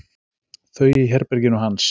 Þau í herberginu hans.